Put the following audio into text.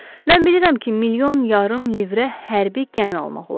Mən bilirəm ki, milyon yarım livrə hərbi gəmi almaq olar.